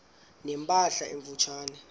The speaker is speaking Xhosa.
ne mpahla emfutshane